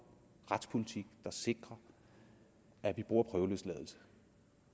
retspolitik der sikrer at vi bruger prøveløsladelse